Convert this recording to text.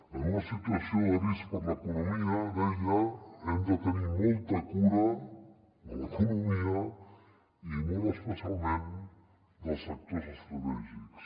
en una situació de risc per a l’economia deia hem de tenir molta cura de l’economia i molt especialment dels sectors estratègics